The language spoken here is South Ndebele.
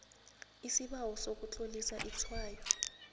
isibawo sokutlolisa itshwayo